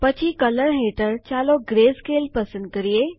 પછી કલર હેઠળ ચાલો ગ્રેસ્કેલ પસંદ કરીએ